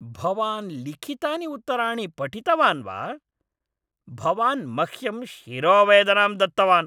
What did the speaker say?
भवान् लिखितानि उत्तराणि पठितवान् वा? भवान् मह्यं शिरोवेदनां दत्तवान्।